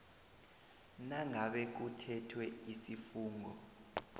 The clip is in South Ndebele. nangabe kuthethwe isifungo